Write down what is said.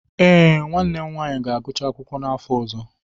Ee, nwanne m nwanyị ga-agụcha akwụkwọ n'afọ ọzọ.